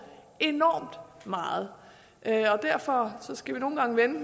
enormt meget derfor skal vi nogle gange vende